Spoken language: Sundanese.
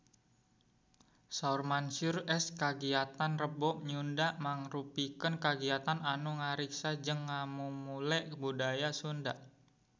Saur Mansyur S kagiatan Rebo Nyunda mangrupikeun kagiatan anu ngariksa jeung ngamumule budaya Sunda